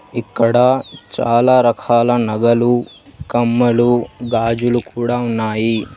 ఇక్కడ చాలా రకాల నగలు కమ్మలు గాజులు కూడా ఉన్నాయి.